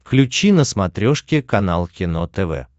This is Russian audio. включи на смотрешке канал кино тв